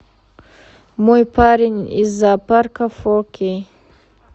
мой парень из зоопарка фо кей